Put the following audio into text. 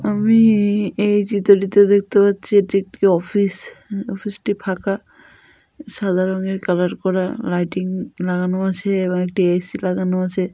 আমি এই চিত্রটিতে দেখতে পাচ্ছি এটি একটি অফিস অফিস টি ফাঁকা সাদা রঙের কালার করা লাইটিং লাগানো আছে এবং একটি এ.সি. লাগানো আছে।